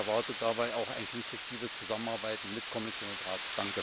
Ich erwarte dabei auch eine konstruktive Zusammenarbeit mit Kommission und Rat.